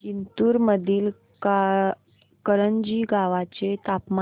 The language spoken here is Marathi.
जिंतूर मधील करंजी गावाचे तापमान